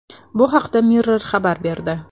Bu haqda Mirror xabar berdi.